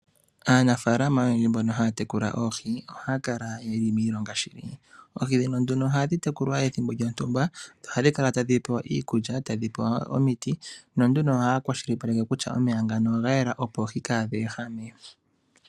Aanafalama oyendji mbono haya tekula oohi, ohaya kala ye li miilonga shinene. Oohi ndhino nduno ohadhi tekulwa pethimbo lyontumba, dho ohadhi kala tadhi pewa iikulya, tadhi pewa omiti. Na nduno ohaya kwashilipaleke kutya omeya oga yela, opo oohi kadhi ehame.